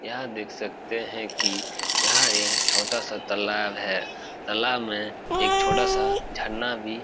यहाँ देख सकते हैं की यहां एक छोटा सा तलाव है। तलाव में एक छोटा सा झरना भी --